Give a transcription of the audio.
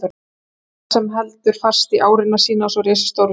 Gvendar sem heldur fast í árina sína, svo risastór við hlið